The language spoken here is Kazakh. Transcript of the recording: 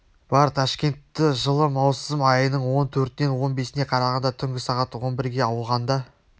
бар ташкентті жылы маусым айының он төртінен он бесіне қарағанда түнгі сағат он бірге ауғанда